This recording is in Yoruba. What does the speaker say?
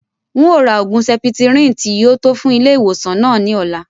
N o rà oògùn septrin tí yìí ó tò fún ilé ìwòsàn náà ni ọ̀la